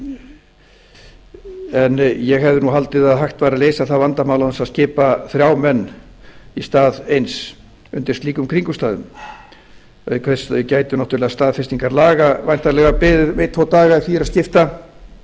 en ég hefði haldið að hægt væri að leysa það vandamál án þess að skipa þrjá menn í stað eins undir slíkum kringumstæðum auk þess gætu staðfestingar laga væntanlega beðið um einn tvo daga ef því er að skipta